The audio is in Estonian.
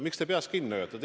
Miks te peast kinni hoiate?